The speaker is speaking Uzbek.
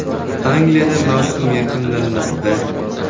Angliyada mavsum yakunlanmoqda.